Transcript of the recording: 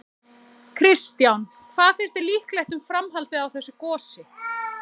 Kristján: Hvað finnst þér líklegt um framhaldið á þessu gosi?